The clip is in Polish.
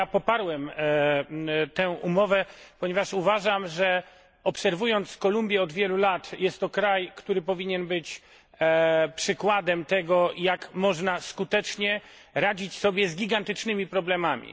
Poparłem tę umowę, ponieważ uważam, obserwując Kolumbię od wielu lat, że jest to kraj, który powinien być przykładem tego, jak można skutecznie radzić sobie z gigantycznymi problemami.